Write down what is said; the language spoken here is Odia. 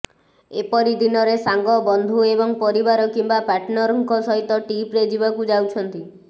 ଏପରି ଦିନରେ ସାଙ୍ଗ ବନ୍ଧୁ ଏବଂ ପରିବାର କିମ୍ବା ପାଟର୍ନରଙ୍କ ସହିତ ଟ୍ରିପ୍ରେ ଯିବାକୁ ଯାଉଛନ୍ତି